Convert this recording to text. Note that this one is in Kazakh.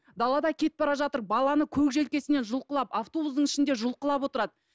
далада кетіп бара жатыр баланы көк желкесінен жұлқылап автобустың ішінде жұлқылап отырады